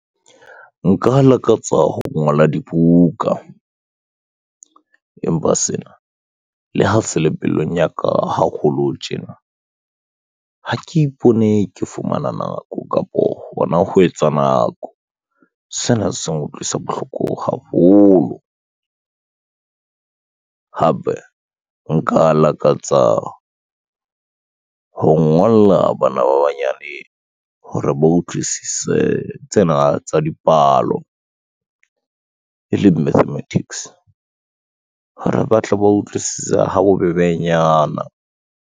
Nka lakatsa ho ngola dibuka, empa sena le ha se le pelong ya ka haholo tjena, ha ke ipone ke fumana nako kapo hona ho etsa nako. Sena se nkutlwisa bohloko haholo hape nka lakatsa ho ngolla bana ba banyane hore ba utlwisise tsena tsa dipalo, e leng mathematics hore ba tle ba utlwisisa ha bobebenyana.